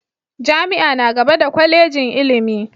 Jami'a na gaba da Kwallejin ilimi.